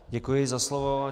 Děkuji za slovo.